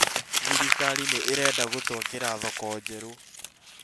Thirikari nĩ ĩrenda gũtwakĩra thoko njerũ